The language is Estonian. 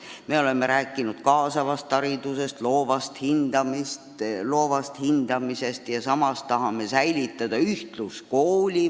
Me oleme rääkinud kaasavast haridusest ja loovast hindamisest ning samas tahame endiselt säilitada ühtluskooli.